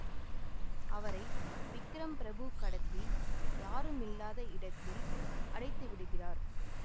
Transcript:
அவரை விக்ரம் பிரபு கடத்தி யாரும் இல்லாத இடத்தில் அடைத்துவிடுகிறார்